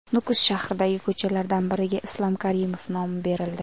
Nukus shahridagi ko‘chalardan biriga Islom Karimov nomi berildi.